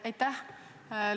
Aitäh!